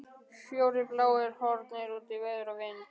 Fjórir bláir horfnir út í veður og vind!